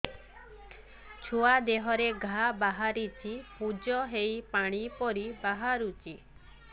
ଛୁଆ ଦେହରେ ଘା ବାହାରିଛି ପୁଜ ହେଇ ପାଣି ପରି ବାହାରୁଚି